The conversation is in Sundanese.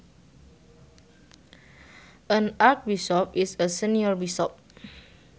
An archbishop is a senior bishop